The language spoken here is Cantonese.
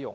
用。